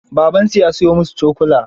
Babansu ya siyo musu cokula.